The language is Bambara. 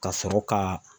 Ka sɔrɔ ka